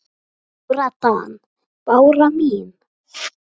Lára Dan. Bára mín.